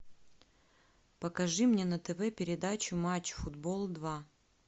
покажи мне на тв передачу матч футбол два